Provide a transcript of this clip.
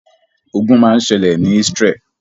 Ogun máa ṣẹlẹ̀ ni Isreal.